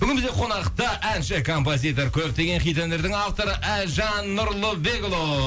бүгін бізде қонақта әнші композитор көптеген хит әндердің авторы әлжан нұрлыбекұлы